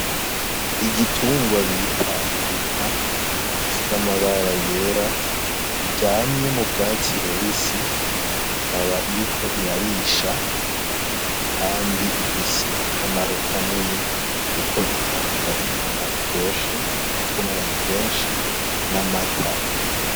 Igitungwa bita inka ifise amabara yera iryamye mu bwatsi bubisi ikaba iriko irarisha, kandi ifise akamaro kanini kuko itanga inyama iryoshe ikunzwe n'abantu benshi n'amata.